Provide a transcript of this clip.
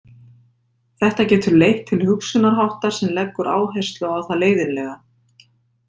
Þetta getur leitt til hugsunarháttar sem leggur áherslu á það leiðinlega.